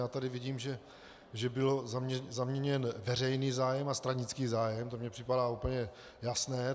Já tady vidím, že byl zaměněn veřejný zájem a stranický zájem, to mi připadá úplně jasné.